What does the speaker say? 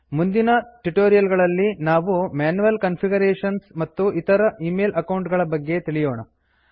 ಮುಂದಿನ ಟ್ಯುಟೋರಿಯಲ್ ಗಳಲ್ಲಿ ನಾವು ಮ್ಯಾನ್ಯುಯಲ್ ಕಾನ್ಫಿಗರೇಶನ್ಸ್ ಮತ್ತು ಇತರ ಈಮೇಲ್ ಅಕೌಂಟ್ ಗಳ ಬಗ್ಗೆ ತಿಳಿಯೋಣ